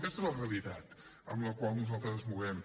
aquesta és la realitat en la qual nosaltres ens movem